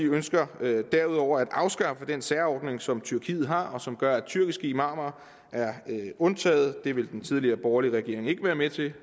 ønsker derudover at afskaffe den særordning som tyrkiet har og som gør at tyrkiske imamer er undtaget det ville den tidligere borgerlige regering ikke være med til det